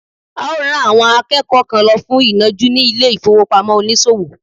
a o ran àwọn akẹ́kọ̀ọ́ kan lọ fún inọju ni ilé ifowopamọ onísòwò